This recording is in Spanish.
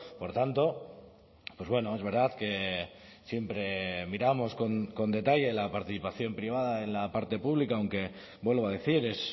por tanto pues bueno es verdad que siempre miramos con detalle la participación privada en la parte pública aunque vuelvo a decir es